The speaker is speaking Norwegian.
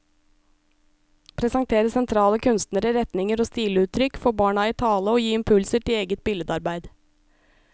Presentere sentrale kunstnere, retninger og stiluttrykk, få barna i tale og gi impulser til eget billedarbeid.